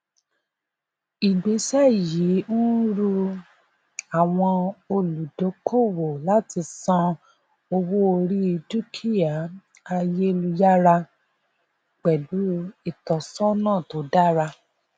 ìgbésẹ yìí ń ru àwọn olùdókòwò láti san owó orí dúkìá ayélujára pẹlú ìtọsọnà tó dára